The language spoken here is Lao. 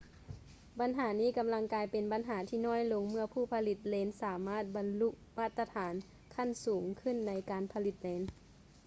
ບັນຫານີ້ກຳລັງກາຍເປັນບັນຫາທີ່ນ້ອຍລົງເມື່ອຜູ້ຜະລິດເລນສາມາດບັນລຸມາດຕະຖານຂັ້ນສູງຂຶ້ນໃນການຜະລິດເລນ